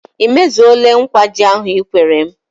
Ị mezuole nkwa ji ahụ Ị kwere m?